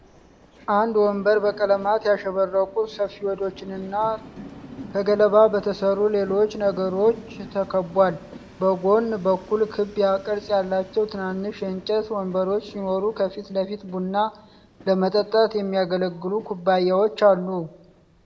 አንድ ወንበር በቀለማት ያሸበረቁ ሰፌዶችና ከገለባ በተሠሩ ሌሎች ነገሮች ተከቧል። በጎን በኩል ክብ ቅርጽ ያላቸው ትናንሽ የእንጨት ወንበሮች ሲኖሩ፣ ከፊት ለፊት ቡና ለመጠጣት የሚያገለግሉ ኩባያዎች አሉ።